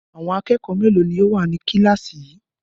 Àwọn akẹ́kọ̀ọ́ mélòó ni ó wà ní kíláàsì yìí?